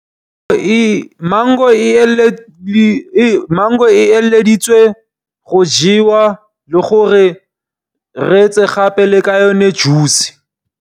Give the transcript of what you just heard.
Mango e eleditswe go jewa le gore re etse gape le ka yone juice.